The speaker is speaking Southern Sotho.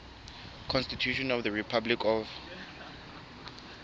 constitution of the republic of